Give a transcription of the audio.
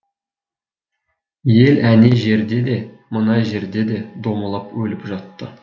ел әне жерде де мына жерде де домалап өліп жатты